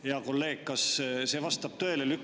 Hea kolleeg, kas see vastab tõele?